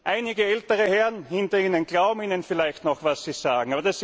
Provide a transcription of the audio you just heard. Einige ältere Herren hinter Ihnen glauben Ihnen vielleicht noch, was Sie sagen.